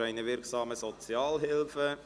Für eine wirksame Sozialhilfe!»»